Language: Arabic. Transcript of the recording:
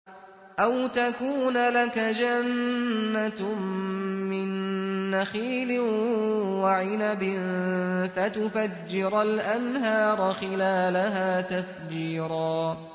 أَوْ تَكُونَ لَكَ جَنَّةٌ مِّن نَّخِيلٍ وَعِنَبٍ فَتُفَجِّرَ الْأَنْهَارَ خِلَالَهَا تَفْجِيرًا